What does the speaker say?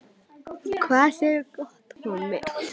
Við höfum öll notið þess hvað liðið hefur gert hingað til.